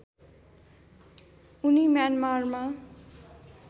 उनी म्यानमारमा